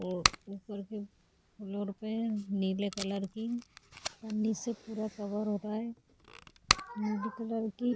और ऊपर के फ्लोर पे नीले कलर की पन्नी से पूरा कवर हो रहा है नीले कलर की --